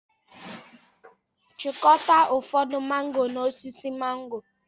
Chịkọta ụfọdụ mángò n'osisi mángò